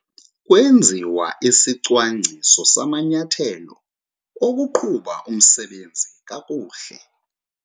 Kwenziwa isicwangciso samanyathelo okuqhuba umsebenzi kakuhle.